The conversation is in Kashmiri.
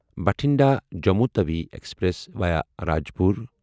Bathinda Jammu Tawi express via Rajpura